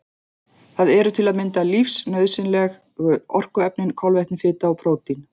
Það eru til að mynda lífsnauðsynlegu orkuefnin kolvetni, fita og prótín.